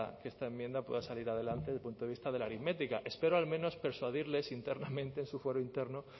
que esta enmienda pueda salir adelante desde el punto de vista de la aritmética espero al menos persuadirles internamente en su fuero interno